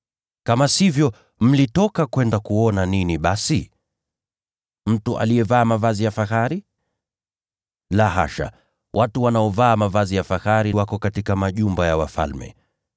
Kama sivyo, mlikwenda kuona nini basi? Mtu aliyevaa mavazi ya kifahari? La hasha, watu wanaovaa mavazi ya kifahari wako katika majumba ya wafalme.